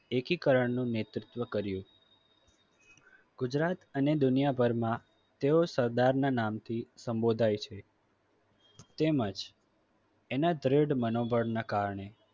એકીકરણનું નેતૃત્વ કર્યું. ગુજરાત અને દુનિયાભરમાં તેઓ સરદારના નામથી સંબોધાય છે. તેમજ એના દ્રઢ મનોબળ ના કારણે